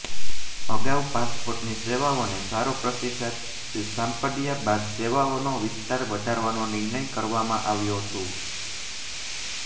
અગાઉ પાસપોર્ટની સેવાઓને સારો પ્રતિસાદ સાંપડ્યા બાદ સેવાઓનો વિસ્તાર વધારવાનો નિર્ણય કરવામાં આવ્યો છું